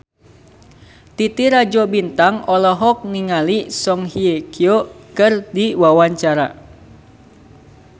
Titi Rajo Bintang olohok ningali Song Hye Kyo keur diwawancara